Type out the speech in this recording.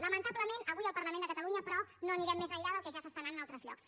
lamentablement avui al parlament de catalunya però no anirem més enllà del que ja s’està anant a altres llocs